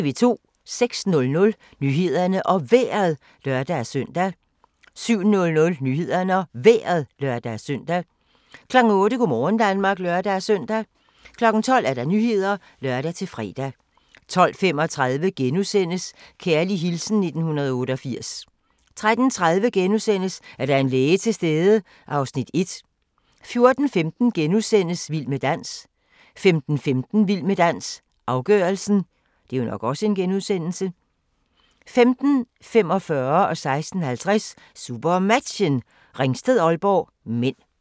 06:00: Nyhederne og Vejret (lør-søn) 07:00: Nyhederne og Vejret (lør-søn) 08:00: Go' morgen Danmark (lør-søn) 12:00: Nyhederne (lør-fre) 12:35: Kærlig hilsen 1988 * 13:30: Er der en læge til stede? (Afs. 1)* 14:15: Vild med dans * 15:15: Vild med dans - afgørelsen 15:45: SuperMatchen: Ringsted-Aalborg (m) 16:50: SuperMatchen: Ringsted-Aalborg (m)